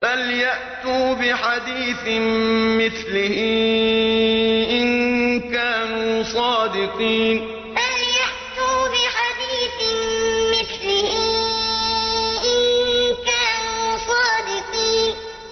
فَلْيَأْتُوا بِحَدِيثٍ مِّثْلِهِ إِن كَانُوا صَادِقِينَ فَلْيَأْتُوا بِحَدِيثٍ مِّثْلِهِ إِن كَانُوا صَادِقِينَ